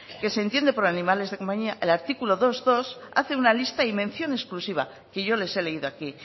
que se entiende por animales de compañía el artículo dosbigarrena hace una lista y mención exclusiva que yo les he leído aquí